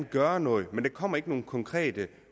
gøre noget men der kommer ikke nogen konkrete